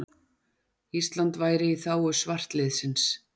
Ísland væru í þágu svartliðsins.